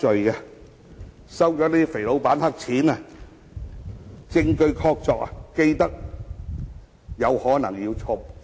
他們收取"肥老闆"的黑錢一事證據確鑿，更有可能要坐牢。